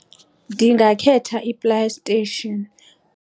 Ndingakhetha iPlayStation.